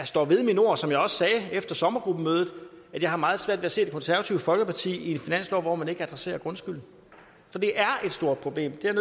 står ved mine ord som jeg også sagde efter sommergruppemødet at jeg har meget svært ved at se det konservative folkeparti i en finanslov hvor man ikke adresserer grundskylden for det er et stort problem det er